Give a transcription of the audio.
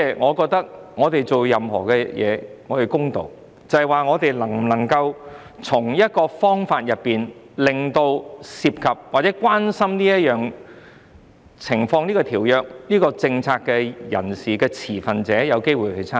我覺得做所有事情都要公道，我們能否找到方法令涉及或關心這條約和政策的持份者有機會參與？